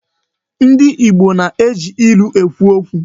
Ndị na-eji ilu ekwu okwu.